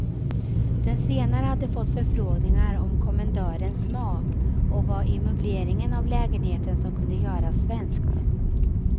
Den senare hade fått förfrågningar om kommendörens smak och vad i möbleringen av lägenheten som kunde göras svenskt.